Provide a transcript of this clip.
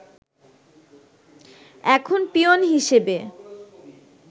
এখন পিওন হিসেবে